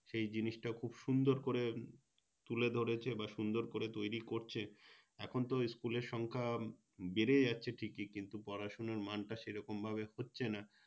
সে জিনিসটা খুব সুন্দর করে তুলে ধরেছে বা সুন্দর করে তৈরী করছে এখনতো School এর সংখ্যা বেড়ে যাচ্ছে ঠিকই কিন্তু পড়াশুনোর মানটা সেরকম ভাবে হচ্ছে না